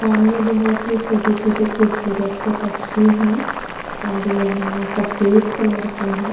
सामने बहुत ही छोटे छोटे खुबसूरत से पक्षी है और यह सफ़ेद कलर के है।